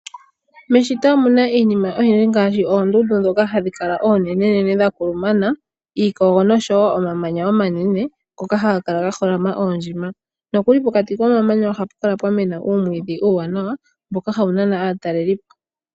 Meshito omunaiinima oyindji ngaashi oondundu dhoka hadhi kala oonenenene dha kulumana, iikogo noshowo omamanya omanene ngoka haga kala ga holama oondjima. Nokuli pokati komamanya ohapu kala pwa mena oomwiidhi uuwanawa mboka hawu nana aatalelipo.